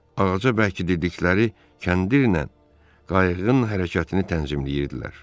Ağaca bərkitdikləri kəndirlə qayıqın hərəkətini tənzimləyirdilər.